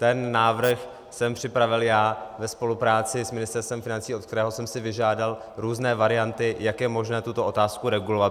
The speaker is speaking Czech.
Ten návrh jsem připravil já ve spolupráci s Ministerstvem financí, od kterého jsem si vyžádal různé varianty, jak je možné tuto otázku regulovat.